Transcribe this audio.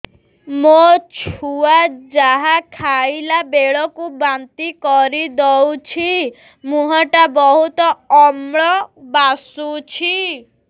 ମୋ ଛୁଆ ଯାହା ଖାଇଲା ବେଳକୁ ବାନ୍ତି କରିଦଉଛି ମୁହଁ ଟା ବହୁତ ଅମ୍ଳ ବାସୁଛି